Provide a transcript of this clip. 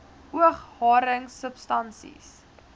oog haring substansie